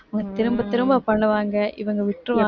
திரும்பத் திரும்ப பண்ணுவாங்க இவங்க விட்டுருவாங்க